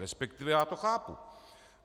Respektive já to chápu.